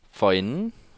forinden